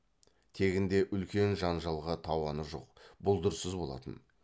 тегінде үлкен жанжалға тауаны жоқ бұлдырсыз болатын